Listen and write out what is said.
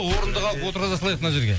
орындық алып отырғыза салайық мына жерге